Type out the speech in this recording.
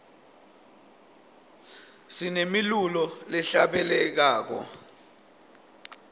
sinemilulo lehla bele lwako